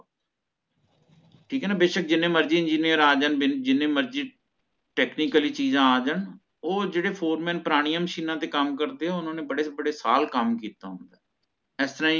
ਠੀਕ ਹੈ ਨਾ ਬੇਸ਼ਕ ਜੀਨੇ ਮਰਜ਼ੀ engineer ਆ ਜਾਣ ਜਿਨੀ ਮਰਜ਼ੀ technically ਚੀਜ਼ਾਂ ਆ ਜਾਣ ਓਹ ਜੇਹੜੇ foreman ਪੁਰਾਣਿਆ ਮਸ਼ੀਨਾਂ ਤੇ ਕੰਮ ਕਰਦੇ ਹੈ ਓਹਨਾ ਨੇ ਬੜੇ ਬੜੇ ਸਾਲ ਕਾਮ ਕੀਤਾ ਹੋਯਾ ਇਸ ਤਰਹ